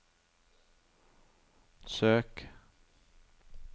søk